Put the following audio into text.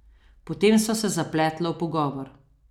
Potem sva se zapletla v pogovor.